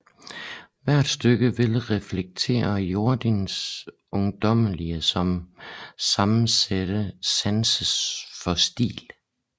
Hvert stykke vil reflektere Jordins ungdommelige om sammensatte sans for stil